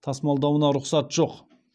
тасымалдауына рұқсат жоқ